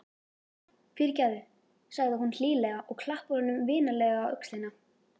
Fyrirgefðu, segir hún hlýlega og klappar honum vinalega á öxlina.